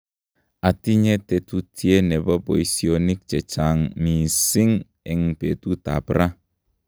atinye tetutye nebo boisionik chechang' msising'eng' betutab ra